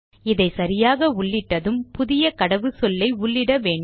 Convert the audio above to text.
இதை சரியாக உள்ளிட்டதும் புதிய கடவுச்சொல்லை உள்ளிட்ட வேண்டும்